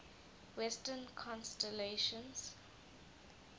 western constellations